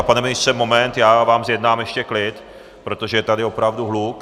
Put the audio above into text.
A pane ministře, moment, já vám zjednám ještě klid, protože je tady opravdu hluk.